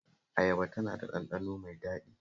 Ayaba tana da ɗanɗano mai daɗi